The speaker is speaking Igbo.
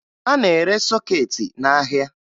A na-ere sọkeetị n'ahịa